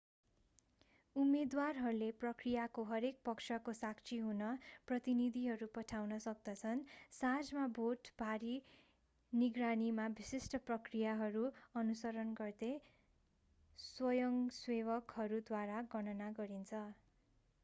उम्मेदवारहरूले प्रक्रियाको हरेक पक्षको साक्षी हुन प्रतिनिधिहरू पठाउन सक्दछन् साँझमा भोट भारी निगरानीमा विशिष्ट प्रक्रियाहरू अनुसरण गर्दै स्वयंसेवकहरूद्वारा गणना गरिन्छ